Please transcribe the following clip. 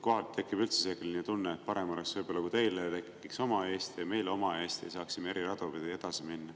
Kohati tekib üldse selline tunne, et oleks võib-olla parem, kui teile tekiks oma Eesti ja meile oma Eesti ning me saaksime eri radu pidi edasi minna.